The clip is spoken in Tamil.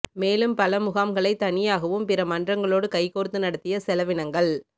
மேலும் பல முகாம்களை தனியாகவும் பிற மன்றங்களோடு கைகோர்த்து நடத்திய செலவினங்கள்